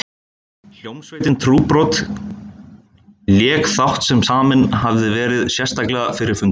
Hljómsveitin Trúbrot lék þátt sem saminn hafði verið sérstaklega fyrir fundinn.